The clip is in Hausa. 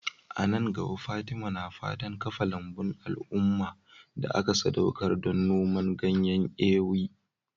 A nan gaba, Fatima na fatan kafa lambun al'umma da aka sadaukar don noman ganyen Ewe.